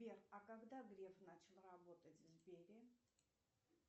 сбер а когда греф начал работать в сбере